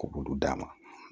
Ko olu d'a ma